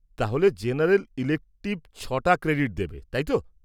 -তাহলে general elective ছ'টা credit দেবে, তাই তো?